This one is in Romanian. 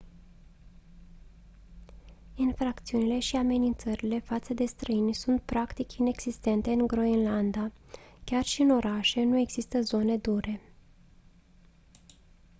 infracțiunile și amenințările față de străini sunt practic inexistente în groenlanda. chiar și în orașe nu există «zone dure».